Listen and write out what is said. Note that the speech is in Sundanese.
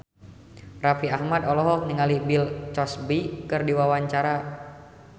Raffi Ahmad olohok ningali Bill Cosby keur diwawancara